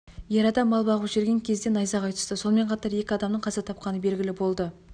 ер адам мал бағып жүрген кезде найзағай түсті сонымен қатар екі адамның қаза тапқаны белгілі болды